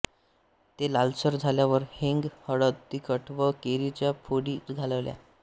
ते लालसर झाल्यावर हिंग हळद तिखट व कैरीच्या फोडी घालाव्या